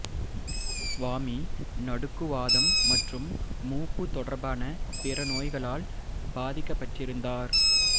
சுவாமி நடுக்குவாதம் மற்றும் மூப்பு தொடர்பான பிற நோய்களால் பாதிக்கப்பட்டிருந்தார்